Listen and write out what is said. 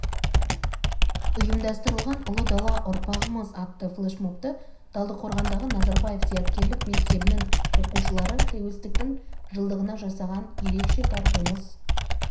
ұйымдастырылған ұлы дала ұрпағымыз атты флешмобты талдықорғандағы назарбаев зияткерлік мектебінің оқушылары тәуелсіздіктің жылдығына жасаған ерекше тартуымыз